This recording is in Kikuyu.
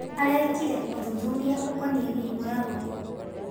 Arekire ũthuthuria ũkonie mĩrimũ ya ngũkũ.